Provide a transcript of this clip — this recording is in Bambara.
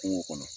Kungo kɔnɔ